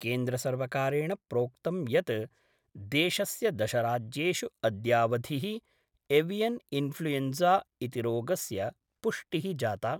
केंद्रसर्वकारेण प्रोक्तं यत् देशस्य दशराज्येषु अद्यावधिः एवियन इन्फ्लुएन्जा इति रोगस्य पुष्टिः जाता।